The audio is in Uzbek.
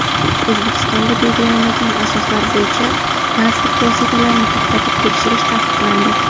O‘zbekistonda belgilanmagan asoslar bo‘yicha transport vositalarini to‘xtatib tekshirish taqiqlandi.